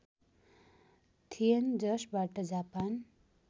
थिएन जसबाट जापान